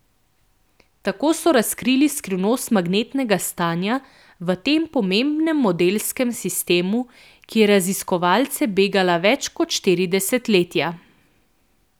Tako so razkrili skrivnost magnetnega stanja v tem pomembnem modelskem sistemu, ki je raziskovalce begala več kot štiri desetletja.